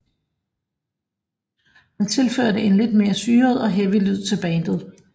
Han tilførte en lidt mere syret og heavy lyd til bandet